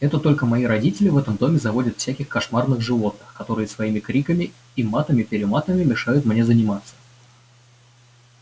это только мои родители в этом доме заводят всяких кошмарных животных которые своими криками и матами-перематами мешают мне заниматься